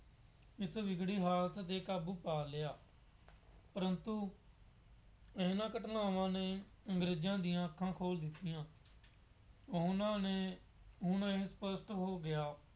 ਇਸ ਵਿਗੜੀ ਹਾਲਤ ਤੇ ਕਾਬੂ ਪਾ ਲਿਆ। ਪਰੰਤੂ ਇਹਨਾ ਘਟਨਾਵਾ ਨੇ ਅੰਗਰੇਜ਼ਾਂ ਦੀਆਂ ਅੱਖਾਂ ਖੋਲ੍ਹ ਦਿੱਤੀਆਂ। ਉਹਨਾ ਨੇ ਹੋ ਗਿਆ।